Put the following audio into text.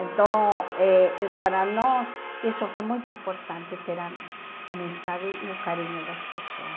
Então, eh para nós, isso foi muito importante, ter a amizade e o carinho das pessoas.